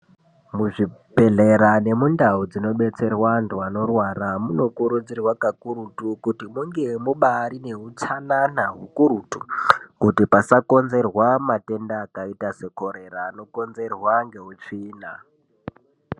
Muzvibhehlera nemundau dzinobetserwa antu anorwara munokurudzirwa kakurutu kuti munge mubaari neutsanana hukurutu kuti pasakinzerwa matenda akaita sekorera anokonzerwa ngeutsvina.